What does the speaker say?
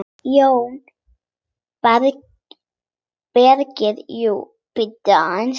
JÓN BEYKIR: Jú, bíddu aðeins!